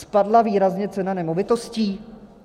Spadla výrazně cena nemovitostí?